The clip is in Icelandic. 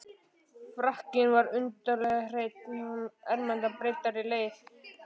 Frakkinn var undarlega hreinn, og ermarnar bryddaðar leðri.